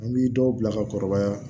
An bi dɔw bila ka kɔrɔbaya